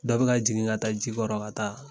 Dɔ bi na jigin ka taa ji kɔrɔ ka taa